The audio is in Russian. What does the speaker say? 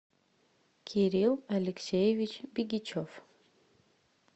кирилл алексеевич бигичев